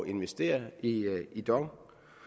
investere i i dong